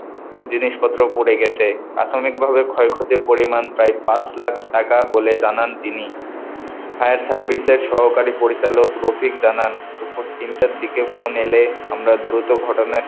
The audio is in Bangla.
জিনিসপত্র পুড়ে গেছে, প্রাথমিকভাবে ক্ষয়ক্ষতির পরিমান প্রায় পাঁচ লাখ টাকা বলে জানান তিনি, fire service এর সহকারী পরিচালক রফিক জানান দুপুর তিনটার দিকে ফোন এলে আমরা দ্রুত ঘটনা,